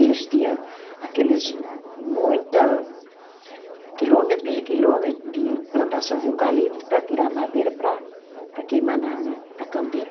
Eles tinha aqueles muita, quilômetros e quilômetros de plantação de eucalipto para tirar a madeira para, para queimar na na, para a caldeira.